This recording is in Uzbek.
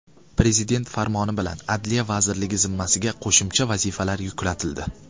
Prezident farmoni bilan Adliya vazirligi zimmasiga qo‘shimcha vazifalar yuklatildi.